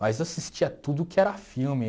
Mas eu assistia tudo que era filme.